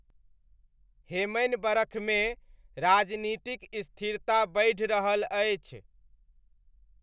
हेमनि बरखमे, राजनीतिक स्थिरता बढ़ि रहल अछि।